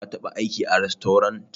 Ka taɓa aiki a rastorant?